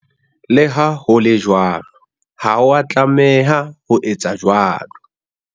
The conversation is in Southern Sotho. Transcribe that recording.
Le ha ho le jwalo, ha o a tlameha ho etsa jwalo.